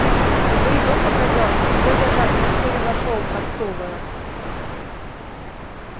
уже и дом показался илья даже окно своё нашёл торцевое